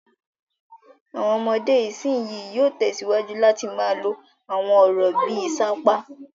Àwọn ọmọdé ìsìnyín yóò tẹ̀síwájú láti máa lo àwọn ọ̀rọ̀ bí i "sapá".